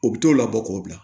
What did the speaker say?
U bi t'o labɔ k'o bila